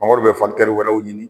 Mangoro bɛ wɛrɛw ɲini.